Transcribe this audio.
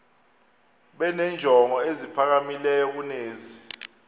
benenjongo eziphakamileyo kunezi